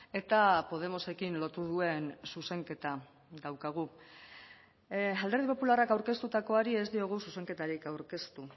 eta podemosekin lotu duen zuzenketa daukagu alderdi popularrak aurkeztutakoari ez diogu zuzenketarik aurkeztu